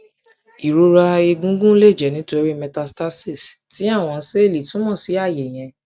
irora egungun le jẹ nitori metastasis ti awọn sẹẹli tumo si aaye yẹn